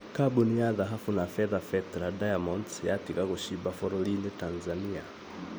Kambũni ya dhahabu na fedha Petra Diamonds yatiga gũcimba bũrũrĩni Tanzania